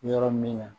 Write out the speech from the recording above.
Yɔrɔ min na